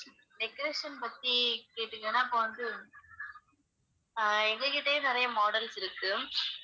decoration பத்தி கேட்டீங்கன்னா இப்ப வந்து ஆஹ் எங்க கிட்டயே நிறைய models இருக்கு